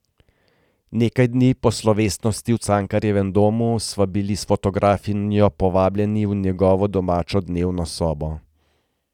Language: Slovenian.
Nekaj dni po slovesnosti v Cankarjevem domu sva bili s fotografinjo povabljeni v njegovo domačo dnevno sobo.